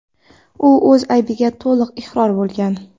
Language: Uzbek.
U o‘z aybiga to‘liq iqror bo‘lgan.